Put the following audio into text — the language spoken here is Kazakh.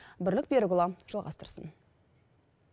бірлік берікұлы жалғастырсын